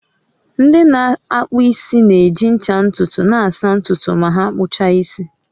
Ndị na-akpụ isi na-eji ncha ntutu na-asa ntutu ma ha kpuchaa isi